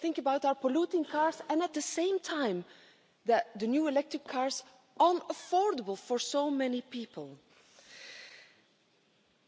Think about our polluting cars and, at the same time, the new electric cars unaffordable for so many people.